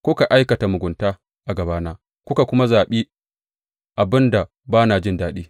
Kuka aikata mugunta a gabana kuka kuma zaɓi abin da ba na jin daɗi.